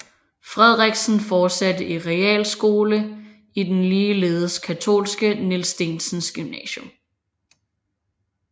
Frederiksen fortsatte i realskole i den ligeledes katolske Niels Steensens Gymnasium